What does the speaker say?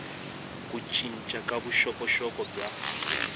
ku cinca ka vuxokoxoko bya